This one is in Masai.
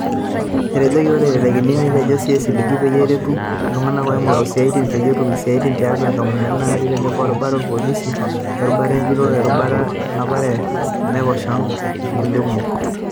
Etejokii oree oitekini netejoo esilige peyie eretu iltunganak ooingoru isiaitin peyie etum isiaitin tiatua inkampunini naati teneboo erubata oolpolisi, erubata enjurore, werubata lenapare le Naiposha onkulia kumok.